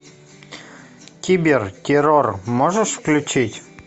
кибер террор можешь включить